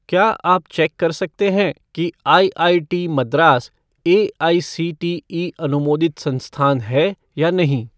क्या आप चेक कर सकते हैं कि आईआईटी मद्रास एआईसीटीई अनुमोदित संस्थान है या नहीं?